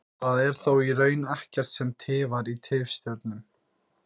Það er þó í raun ekkert sem tifar í tifstjörnum.